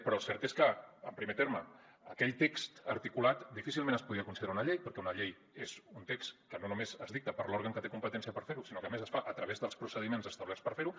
però el cert és que en primer terme aquell text articulat difícilment es podia considerar una llei perquè una llei és un text que no només es dicta per l’òrgan que té competència per fer ho sinó que a més es fa a través dels procediments establerts per fer ho